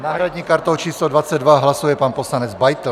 S náhradní kartou číslo 22 hlasuje pan poslanec Beitl.